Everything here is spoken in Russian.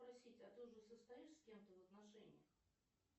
спросить а ты уже состоишь с кем то в отношениях